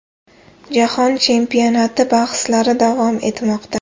Jahon chempionati bahslari davom etmoqda.